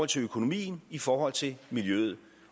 til økonomien i forhold til miljøet